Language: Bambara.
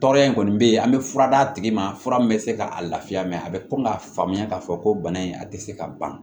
Tɔɔrɔya in kɔni bɛ yen an bɛ fura d' a tigi ma fura min bɛ se ka a lafiya mɛ a bɛ ko k'a faamuya k'a fɔ ko bana in a tɛ se ka ban